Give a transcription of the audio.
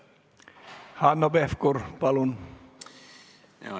Hanno Pevkur, palun!